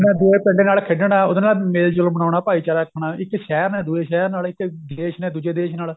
ਮੈਂ ਦੂਜੇ ਪਿੰਡ ਨਾਲ ਖੇਡਣਾ ਉਹਦੇ ਨਾਲ ਮੇਲ ਜੋਲ ਬਣਾਉਣਾ ਭਾਈਚਾਰਾ ਰੱਖਣਾ ਇੱਕ ਸ਼ਹਿਰ ਨਾਲੇ ਦੂਜੇ ਸ਼ਹਿਰ ਨਾਲ ਇੱਕ ਦੇਸ਼ ਨੇ ਦੂਜੇ ਦੇਸ਼ ਨਾਲ